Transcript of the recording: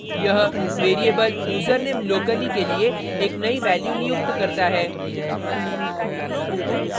यह variable username locally के लिए एक नयी value नियुक्त करता है